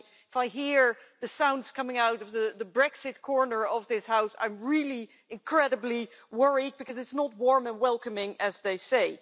And if I hear the sounds coming out of the Brexit corner of this House, I am really incredibly worried because it's not warm and welcoming, as they say.